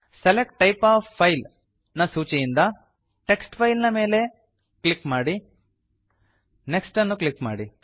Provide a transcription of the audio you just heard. select type of file ನ ಸೂಚಿಯಿಂದ list ನಿಂದ ಟೆಕ್ಸ್ಟ್ ಫೈಲ್ ನ ಮೇಲ್ ನ ಮೇಲೆ ಕ್ಲಿಕ್ ಮಾಡಿ ನೆಕ್ಸ್ಟ್ ಅನ್ನು ಕ್ಲಿಕ್ ಮಾಡಿ